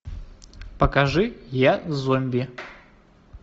покажи я зомби